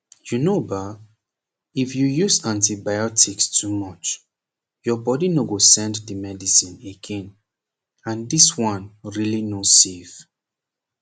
u know ba if you use antibiotics too much your body no go send the medicine again and this one really no safe